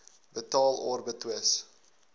betaal or betwis